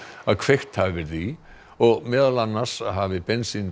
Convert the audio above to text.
að kveikt hafi verið í og meðal annars hafi